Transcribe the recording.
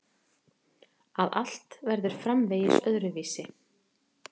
Að allt verður framvegis öðruvísi.